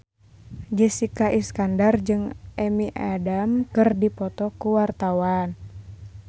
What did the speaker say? Jessica Iskandar jeung Amy Adams keur dipoto ku wartawan